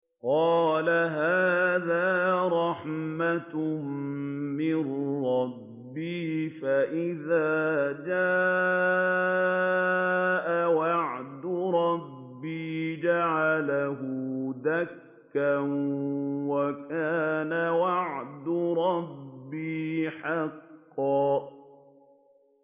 قَالَ هَٰذَا رَحْمَةٌ مِّن رَّبِّي ۖ فَإِذَا جَاءَ وَعْدُ رَبِّي جَعَلَهُ دَكَّاءَ ۖ وَكَانَ وَعْدُ رَبِّي حَقًّا